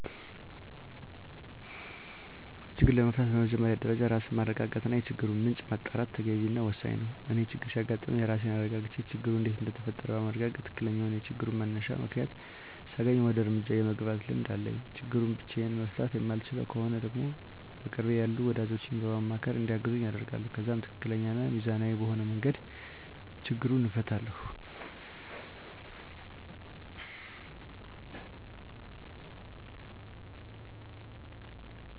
ችግሩን ለመፍታት በመጀመሪያ ደረጃ ራስን ማረጋጋት እና የችግሩን ምንጭ ማጣራት ተገቢ እና ወሳኝ ነው። እኔ ችግር ሲያጋጥም ራሴን አረጋግቼ ችግሩ እንዴት እንደተፈጠረ በማረጋገጥ ትክክለኛውን የችግሩን መነሻ ምክንያት ሳገኝ ወደ እርምጃ የመግባት ልምድ አለኝ። ችግሩን ብቻየን መፍታት የማልችለው ከሆነ ደግሞ በቅርቤ ያሉ ወዳጆቼን በማማካር እንዲያግዙኝ አደርጋለሁ። ከዛም ትክክለኛ እና ሚዛናዊ በሆነ መንገድ ችግሩን እፈታለሁ።